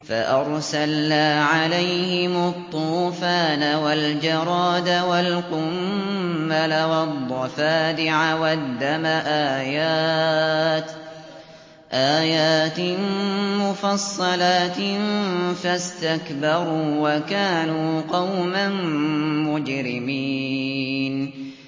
فَأَرْسَلْنَا عَلَيْهِمُ الطُّوفَانَ وَالْجَرَادَ وَالْقُمَّلَ وَالضَّفَادِعَ وَالدَّمَ آيَاتٍ مُّفَصَّلَاتٍ فَاسْتَكْبَرُوا وَكَانُوا قَوْمًا مُّجْرِمِينَ